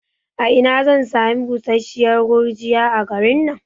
A ina zan sami busasshiyar gurgiya a garin nan?